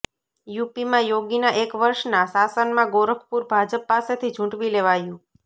યુપીમાં યોગીના એક વર્ષના શાસનમાં ગોરખપુર ભાજપ પાસેથી ઝૂંટવી લેવાયું